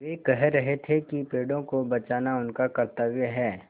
वे कह रहे थे कि पेड़ों को बचाना उनका कर्त्तव्य है